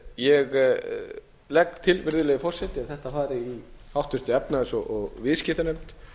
ég legg til virðulegi forseti að þetta fari í háttvirtri efnahags og viðskiptanefnd